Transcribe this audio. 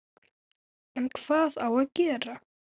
En hvað á að gera?